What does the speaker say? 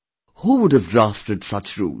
Who would have drafted such rules